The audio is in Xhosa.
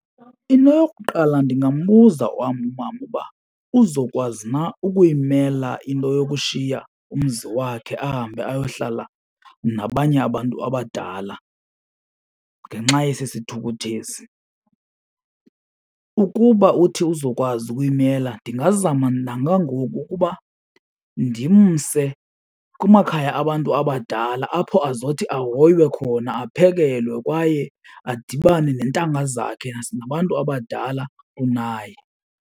Into yokuqala ndingambuza wam umama uba uzokwazi na ukuyimamela into yokushiya umzi wakhe ahambe ayohlala nabanye abantu abadala ngenxa yesi sithukuthezi. Ukuba uthi uzokwazi ukuyimela ndingazama njengangoku ukuba ndimse kumakhaya abantu abadala apho azothi ahoywe khona, aphekelewe kwaye adibane neentanga zakhe nabantu abadala kunaye.